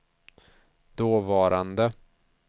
dåvarande